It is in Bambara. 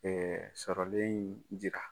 sɔrɔlen in jira.